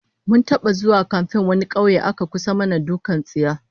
Mun taba zuwa kamfen wani kauye aka kusa mana dukkan tsiya